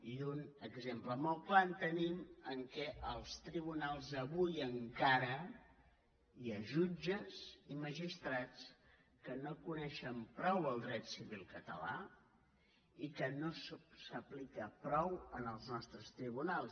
i un exemple molt clar el tenim en el fet que als tribunals avui encara hi ha jutges i magistrats que no coneixen prou el dret civil català i que no s’aplica prou en els nostres tribunals